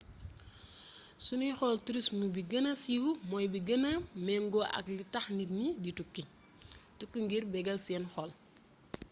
su ñuy xool tourisme bi gëna siiw mooy bi gëna méngoo ak li tax nit ñi di tukki tukki ngir bégal seen xol